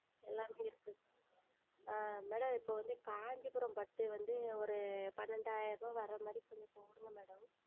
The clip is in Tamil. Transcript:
எல்லாமே இருக்கு ஆஹ் Madam இப்போ வந்து Kancheepuram பட்டு வந்து ஓரு பன்னெண்டாயிரம் வற்ற மாதிரி கொஞ்சம் போடுங்க madam